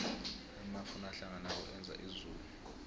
amafu nakahlanganako enza izulu